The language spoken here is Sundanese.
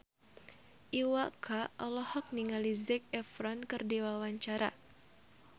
Iwa K olohok ningali Zac Efron keur diwawancara